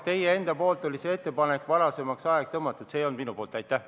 Teie enda ettepanek oli see aeg varasemaks tõsta, see ei olnud minu ettepanek.